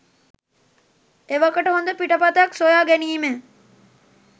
එවකට හොඳ පිටපතක් සොයා ගැනීමෙ